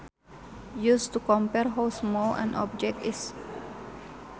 Used to compare how small an object is